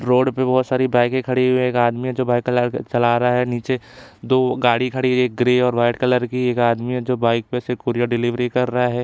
Road पर बहुत सारी बाइके खड़ी है एक आदमी है जो बाइक चला रहा है नीचे दो गाड़ी खड़ी है ग्रे और वाइट कलर की एक आदमी है जो बाइक पर से कोरियर डिलीवरी कर रहा हैं।